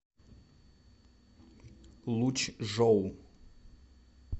лучжоу